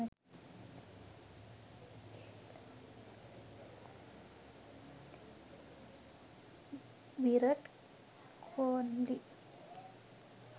virat kohli